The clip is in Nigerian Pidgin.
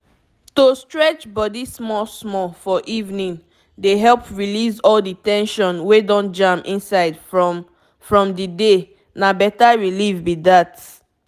to stretch body small-small for evening dey help release all the ten sion wey don jam inside from from the day—na better relief be that.